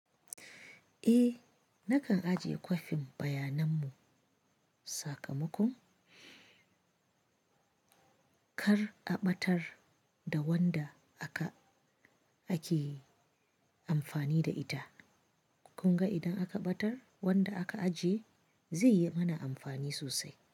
Eh nakan ajiye kwafin bayananmu sakamakon kar a ɓatar da wanda aka ake amfani da ita. Kun ga idan aka ɓatar wanda aka ajiye zai yi mana amfani sosai.